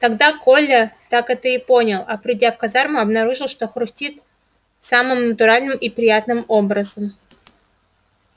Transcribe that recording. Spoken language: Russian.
тогда коля так это и понял а придя в казарму обнаружил что хрустит самым натуральным и приятным образом